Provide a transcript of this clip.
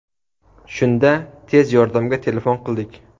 Shunda tez yordamga telefon qildik.